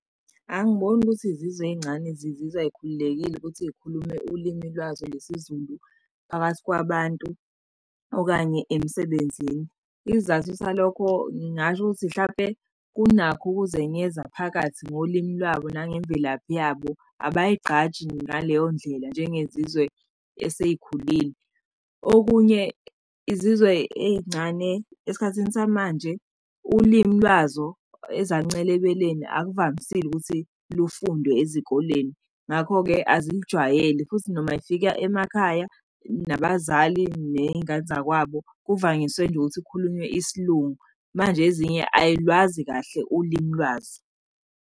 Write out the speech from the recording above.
Angiboni ukuthi zizwe ey'ncane zizizwa ay'khululekile ukuthi iy'khulume ulimi lwazo lesiZulu phakathi kwabantu okanye emsebenzini. Isizathu salokho ngingasho ukuthi mhlampe kunakho ukuzenyeza phakathi ngolimi lwabo nangemvelaphi yabo abay'gqaji ngaleyo ndlela njengezizwe esey'khulile. Okunye, izizwe ey'ncane esikhathini samanje, ulimi lwazo ezaluncela ebeleni akuvamisile ukuthi lufundwe ezikoleni. Ngakho-ke, azijwayele futhi noma y'fika emakhaya nabazali ney'ngane zakwabo kuvanyiswe nje ukuthi khulunywe isiLungu manje, ezinye ay'lwazi kahle ulimi lwazo.